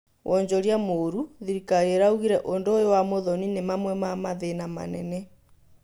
Wonjoria mũru, thirikari ĩraũgire ũndũ ũyũ wa Muthoni nĩ mamwe ma mathĩna manene